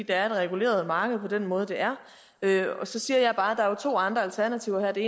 er et reguleret marked på den måde det er så siger jeg bare at der jo er to andre alternativer her det